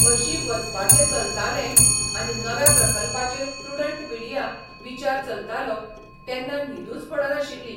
हरशीं वचपाचें चलतालें आनी नव्या प्रकल्पाचेर प्रुडंट मिडिया विचार चलतालो तेन्ना न्हिदूच पडनाशिल्ली.